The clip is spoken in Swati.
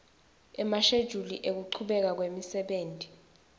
emashejuli ekuchubeka kwemsebenti